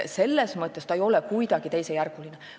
Selles mõttes ei ole see kuidagi teisejärguline.